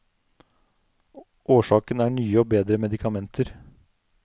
Årsaken er nye og bedre medikamenter.